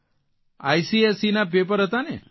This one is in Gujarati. આઇસીએસઇના પેપર હતા ને